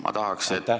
Aitäh!